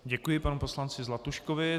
Děkuji panu poslanci Zlatuškovi.